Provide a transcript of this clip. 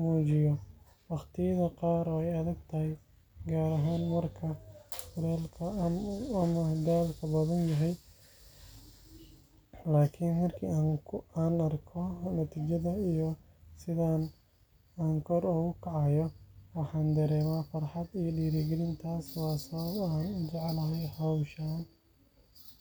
muujiya. Waqtiyada qaar way adag tahay, gaar ahaan marka kulka ama daalka badan yahay, laakiin markii aan arko natiijada iyo sida aan kor ugu kacayo, waxaan dareemaa farxad iyo dhiirigelin. Taasi waa sababta aan u jeclahay hawshan.